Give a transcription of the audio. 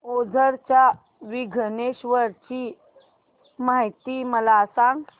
ओझर च्या विघ्नेश्वर ची महती मला सांग